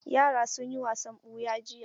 Yara sun yi wasan ɓuya jiya.